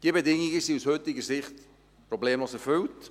Diese Bedingungen sind aus heutiger Sicht problemlos erfüllt.